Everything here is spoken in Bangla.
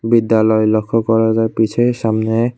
বিদ্যালয় লক্ষ করা যায় পিছে সামনে--